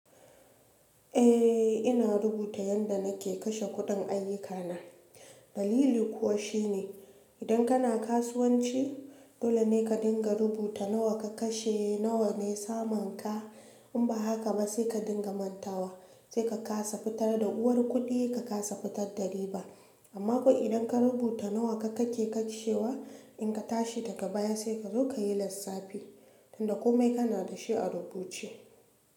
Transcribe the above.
Eh ina rubuta yanda nake kashe kuɗin ayyukana. Dalili kuwa shine idan kana kasuwanci dolene karika rubuta nawa ka kashe nawane samunka in ba haka ba sai ka dinga mantawa sai ka kasa fitar da uwar kuɗi ka kasa fitar da riba. Amma ko idan ka rubuta nawa kake kashewa in ka tashi daga baya sai ka zo ka yi lissafi tunda komai kana da shi a rubuce.